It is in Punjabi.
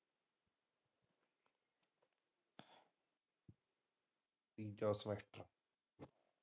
ਅੱਛਾ ਅੱਛਾ।